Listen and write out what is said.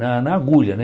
Na na agulha, né?